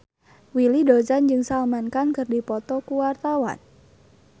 Willy Dozan jeung Salman Khan keur dipoto ku wartawan